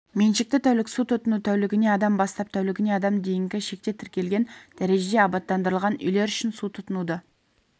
меншікті тәулік су тұтыну тәулігіне адам бастап тәулігіне адам дейінгі шекте тіркелген дәрежеде абаттандырылған үйлер үшін су тұтынуды